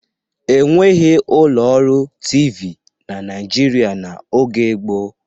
E nweghi ụlọ ọrụ TV na Naịjirịa n'oge gboo.